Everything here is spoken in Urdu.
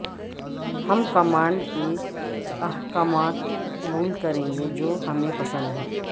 ہم کمانڈ کے احکامات قبول کریں گے جو ہمیں پسند ہے